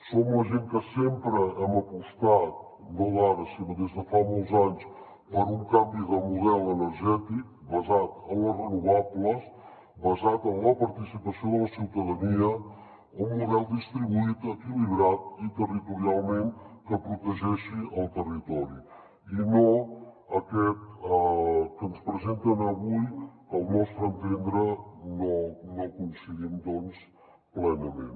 som la gent que sempre hem apostat no d’ara sinó des de fa molts anys per un canvi de model energètic basat en les renovables basat en la participació de la ciutadania un model distribuït equilibrat i territorialment que protegeixi el territori i no aquest que ens presenten avui que al nostre entendre no coincidim doncs plenament